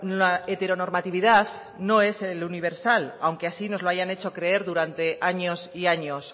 la heteronormatividad no es el universal aunque así nos lo hayan hecho creer durante años y años